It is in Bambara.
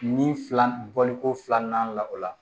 Ni fila bɔli ko filanan n'an la o la